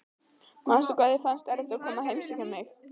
Manstu hvað þér fannst erfitt að koma að heimsækja mig?